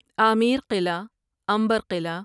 آمیر قلعہ عنبر قلعہ